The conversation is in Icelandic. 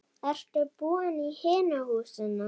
Ertu búinn í hinu húsinu?